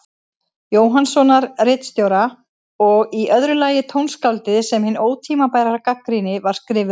Jóhannssonar ritstjóra, og í öðru lagi tónskáldið sem hin ótímabæra gagnrýni var skrifuð um.